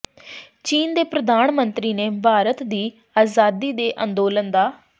ਚੀਨ ਦੇ ਪ੍ਰਧਾਨ ਮੰਤਰੀ ਨੇ ਭਾਰਤ ਦੀ ਆਜ਼ਾਦੀ ਦੇ ਅੰਦੋਲਨ ਦਾ